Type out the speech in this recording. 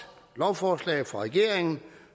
lovforslag fra regeringen